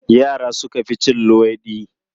Yara suka fi cin luwaiɗi.